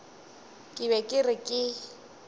ke be ke re ke